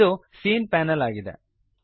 ಇದು ಸೀನ್ ಪ್ಯಾನಲ್ ಆಗಿದೆ